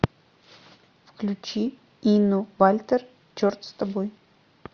включи инну вальтер черт с тобой